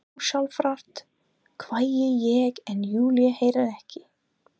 Ósjálfrátt hvái ég en Júlía heyrir ekki.